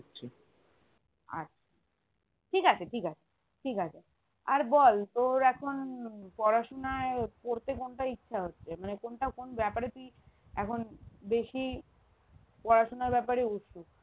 আচ্ছা ঠিকাছে ঠিকাছে ঠিকাছে আর বল তোর এখন পড়াশোনায় পরতে কোনটা ইচ্ছা হচ্ছে মানে কোনটা কোন বেপারে তুই এখন বেশি পড়াশোনার বেপারে